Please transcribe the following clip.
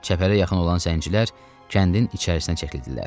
Çəpərə yaxın olan zəncilər kəndin içərisinə çəkildilər.